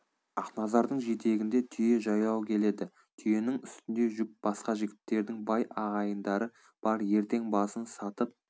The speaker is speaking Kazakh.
ақназардың жетегінде түйе жаяу келеді түйенің үстінде жүк басқа жігіттердің бай ағайындары бар ертең басын сатып